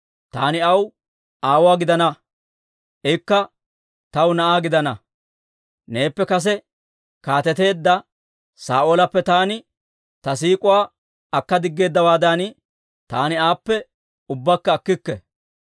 Taani aw aawuwaa gidana; ikka taw na'aa gidana. Neeppe kase kaateteedda Saa'oolappe taani ta siik'uwaa akka diggeeddawaadan, taani aappe ubbakka akkikke.